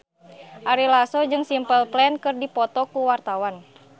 Ari Lasso jeung Simple Plan keur dipoto ku wartawan